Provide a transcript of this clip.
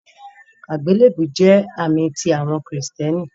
Agbélebú jẹ̀ àmì tí awọn Kristiánì.